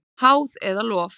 Háð eða lof?